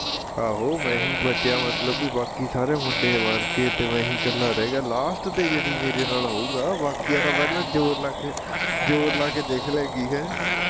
ਆਹੋ ਮੈਂ ਹੀ ਬਚਿਆ ਮਤਲਬ ਵੀ ਬਾਕੀ ਸਾਰੇ ਮੁੰਡੇ ਮਰਨਗੇ ਤੇ ਮੈਂ ਈ ਕੱਲਾ ਰਹਿ ਗਿਆ last ਤੇ ਯਾਨੀ ਮੇਰੇ ਨਾਲ਼ ਹੋਉਗਾ ਬਾਕੀਆਂ ਦਾ ਪਹਿਲਾਂ ਜ਼ੋਰ ਲਾਕੇ ਜ਼ੋਰ ਲਾਕੇ ਦੇਖਲੇਗੀ ਹੈਂ